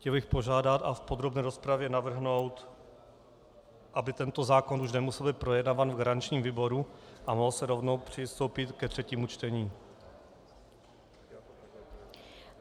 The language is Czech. Chtěl bych požádat a v podrobné rozpravě navrhnout, aby tento zákon už nemusel být projednáván v garančním výboru a mohlo se rovnou přistoupit ke třetímu čtení.